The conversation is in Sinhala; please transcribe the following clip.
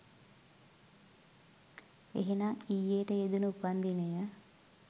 එහෙනම් ඊයේට යෙදුනු උපන්දිනය